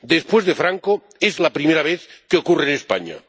Después de Franco, es la primera vez que ocurre en España.